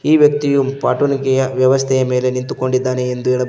ಈ ವ್ಯಕ್ತಿಯು ಪಾಟುಣಿಕೆಯ ವ್ಯವಸ್ಥೆ ಮೇಲೆ ನಿಂತುಕೊಂಡಿದ್ದಾನೆ ಎಂದು ಹೇಳಬಹುದು.